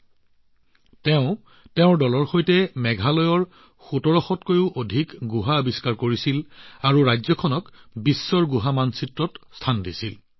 অতি কম সময়ৰ ভিতৰতে তেওঁ নিজৰ দলৰ সৈতে মেঘালয়ৰ ১৭০০ৰো অধিক গুহা আৱিষ্কাৰ কৰি ৰাজ্যখনক বিশ্ব গুহা মানচিত্ৰত স্থান দিলে